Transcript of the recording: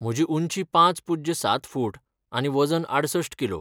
म्हजी उंची पांच पुज्य सात फूट आनी वजन आडसष्ठ किलो.